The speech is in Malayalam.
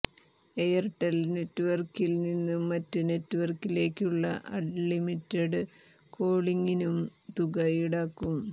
എയർടെൽ നെറ്റ്വർക്കിൽ നിന്ന് മറ്റ് നെറ്റ്വർക്കിലേക്കുള്ള അൺലിമിറ്റഡ് കോളിംഗിനും തുക ഈടാക്കും